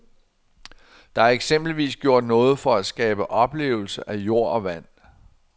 Der er eksempelvis gjort noget for at skabe oplevelse af jord og vand.